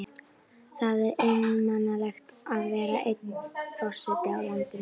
Það er einmanalegt að vera eini forsetinn í landinu.